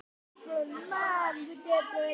Tekið hefði verið eftir því.